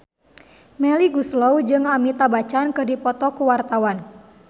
Melly Goeslaw jeung Amitabh Bachchan keur dipoto ku wartawan